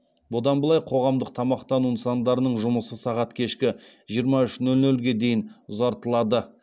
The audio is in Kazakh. бұдан былай қоғамдық тамақтану нысандарының жұмысы сағат кешкі жиырма үш нөл нөлге дейін ұзартылады